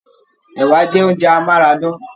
Ẹ̀wà jẹ oúnjẹ amárádán.